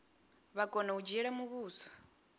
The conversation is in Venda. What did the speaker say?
vha kona u dzhiela muvhuso